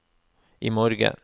imorgen